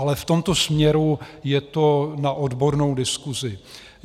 Ale v tomto směru je to na odbornou diskusi.